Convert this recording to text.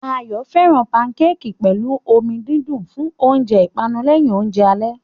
Ayo fẹ́ràn pankéèkì pẹ̀lú omi dídùn fún oúnjẹ ìpanu lẹ́yìn oúnjẹ alẹ́.